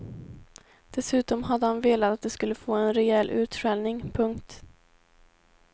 Dessutom hade han velat att de skulle få en rejäl utskällning. punkt